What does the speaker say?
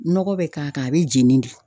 Nɔgɔ bɛ k'a kan a bɛ jeni de.